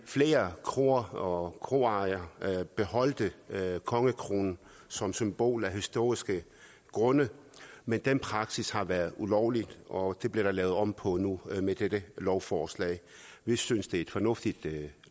flere kroer og kroejere beholdt kongekronen som symbol af historiske grunde men den praksis har været ulovlig og det bliver der lavet om på nu med dette lovforslag vi synes det er et fornuftigt